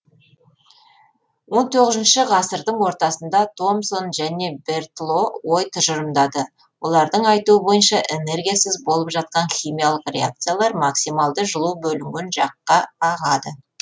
он тоғызыншы ғасырдың ортасында томсон және бертло ой тұжырымдады олардың айтуы бойынша энергиясыз болып жатқан химиялық реакциялар максималды жылу бөлінген жаққа ағады